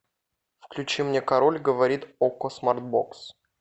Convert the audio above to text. включи мне король говорит окко смарт бокс